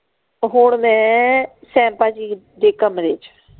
ਹੁਣ ਮੈਂ ਜੀ ਦੇ ਕਮਰੇ ਚ।